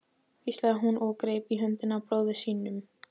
hvíslaði hún og greip í höndina á bróður sínum.